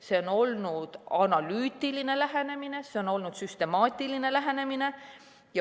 See on olnud analüütiline lähenemine, see on olnud süstemaatiline lähenemine.